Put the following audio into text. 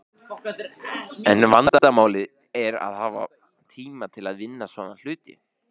En vandamálið er að hafa tíma til að vinna svona hluti.